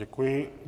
Děkuji.